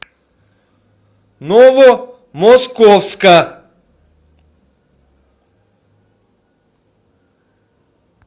новомосковска